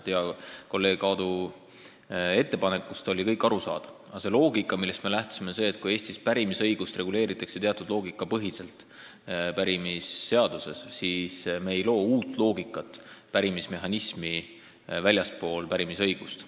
Hea kolleegi Aadu ettepanekus oli kõik arusaadav, aga hästi lihtsalt öeldes on ju loogika, millest komisjon lähtus, järgmine: kui Eestis pärimisõigust reguleeritakse teatud loogika põhiselt pärimisseaduses, siis me ei loo pärimismehhanismi uut loogikat väljaspool pärimisõigust.